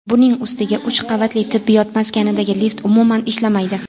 Buning ustiga uch qavatli tibbiyot maskanidagi lift umuman ishlamaydi.